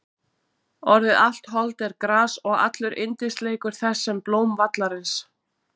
Orðið Allt hold er gras og allur yndisleikur þess sem blóm vallarins.